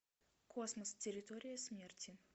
космос территория смерти